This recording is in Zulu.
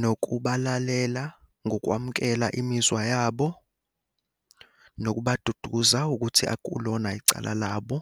nokubalalela ngokwamukela imizwa yabo, nokubaduduza ukuthi akulona icala labo.